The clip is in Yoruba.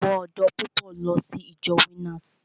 Àwọn ọ̀dọ́ púpọ̀ ń lọ sí ìjọ Winners.